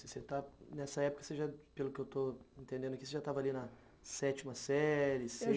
Você está, nessa época, pelo que eu estou entendendo aqui, você já estava ali na sétima série,